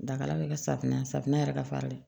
Dakala bɛ kɛ safunɛ safunɛ yɛrɛ ka fari